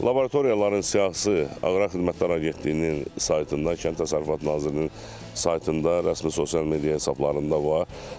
Laboratoriyaların siyahısı Aqrar Xidmətlər Agentliyinin saytında, Kənd Təsərrüfatı Nazirliyinin saytında, rəsmi sosial media hesablarında var.